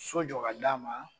So jɔ ka d'a ma.